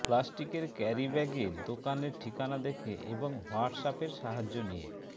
প্লাস্টিকের ক্যারিব্যাগে দোকানের ঠিকানা দেখে এবং হোয়্যাটঅ্যাপের সাহায্য নিয়ে